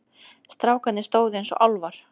Strákarnir stóðu eins og álfar.